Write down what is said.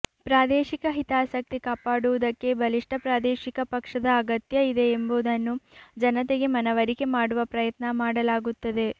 ಪ್ರಾದೇಶಿಕ ಹಿತಾಸಕ್ತಿ ಕಾಪಾಡುವುದಕ್ಕೆ ಬಲಿಷ್ಠ ಪ್ರಾದೇಶಿಕ ಪಕ್ಷದ ಅಗತ್ಯ ಇದೆ ಎಂಬುದನ್ನು ಜನತೆಗೆ ಮನವರಿಕೆ ಮಾಡುವ ಪ್ರಯತ್ನ ಮಾಡಲಾಗುತ್ತದೆ